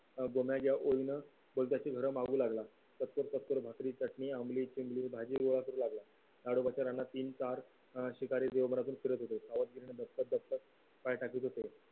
अं गोम्या ज्या ओढीन मागू लागला चौतकर चौतकर भाकरी चटणी मी अमली चिमणी भाजी गोळा कुर लाला ताडोबाच्या रानात तीन तार अं शिकारी करतात पाय टाकीत होते